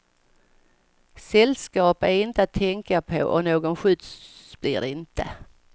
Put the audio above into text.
Sällskap är inte att tänka på och någon skjuts blir det inte.